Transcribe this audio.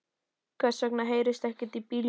Hvers vegna heyrist ekkert í bílunum?